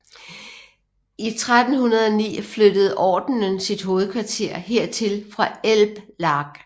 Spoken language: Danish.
I 1309 flyttede ordenen sit hovedkvarter hertil fra Elblag